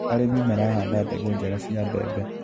Arĩmi marahanda mbegũ njega cia mbembe.